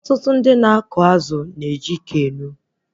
Ọtụtụ ndị na-akọ azụ na eji Keno